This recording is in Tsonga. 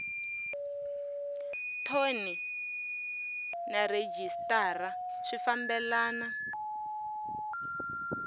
thoni na rhejisitara swi fambelana